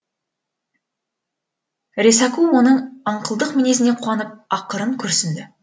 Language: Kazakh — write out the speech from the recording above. ресаку оның аңқылдық мінезіне қуанып ақырын күрсінді